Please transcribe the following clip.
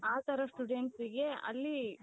ಆ ತರದ studentsಗೆ ಅಲ್ಲಿ